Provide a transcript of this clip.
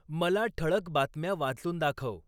मला ठळक बातम्या वाचून दाखव